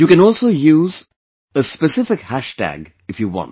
You can also use a specific hashtag if you want